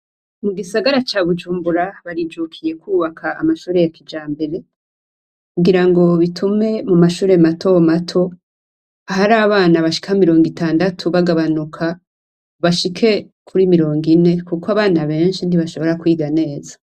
Mu gisagara ca Bujumbura barijukiye kwubaka amashure ya kijambere kugira ngo bitume mu mashure matomato atari abana bashika mirongo itandatu bagabanuka bashike kuri mirongo ine kuko abana benshi ntibashobora kwiga neza.